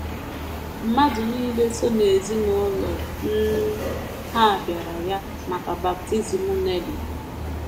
Mmadụ nile so n’ezinụlọ um ha bịara ya maka baptism Nellie.